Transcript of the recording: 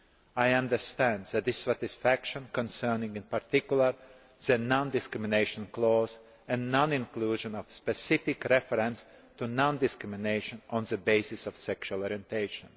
I understand the dissatisfaction concerning in particular the non discrimination clause and the non inclusion of a specific reference to non discrimination on the basis of sexual orientation.